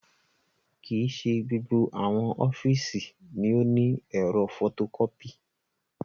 Kii ṣe gbogbo awọn ọfiisi ni o ni ẹ̀rọ fotokọpi